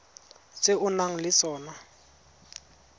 tse o nang le tsona